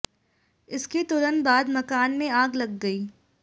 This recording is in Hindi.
इसके तुरंत बाद मकान में आग लग गई